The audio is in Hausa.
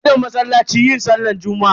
Na tafi masallaci yin sallar juma'a.